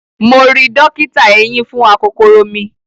Mo ri dọ́kítà eyín fún akokoro mi.